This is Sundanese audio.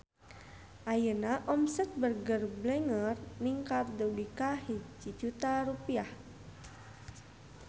Ayeuna omset Burger Blenger ningkat dugi ka 1 juta rupiah